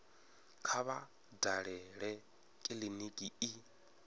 kha vha dalele kiliniki i